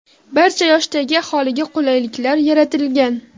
Barcha yoshdagi aholiga qulayliklar yaratilgan.